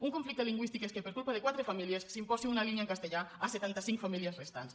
un conflicte lingüístic és que per culpa de quatre famílies s’imposi una línia en castellà a setanta cinc famílies restants